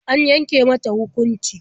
An yanke mata hukunci?